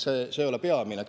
See ei ole peamine.